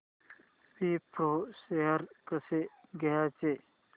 Wipro shares कसे घ्यायचे